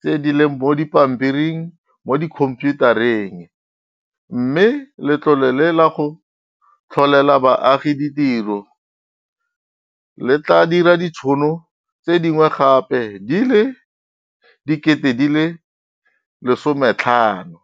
tse di leng mo dipampiring mo dikhomphiutareng, mme Letlole la go Tlholela Baagi Ditiro le tla dira ditšhono tse dingwe gape di le 50 000.